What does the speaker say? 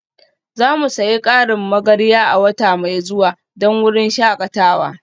Za mu sayi ƙarin magarya a wata mai zuwa don wurin shakatawa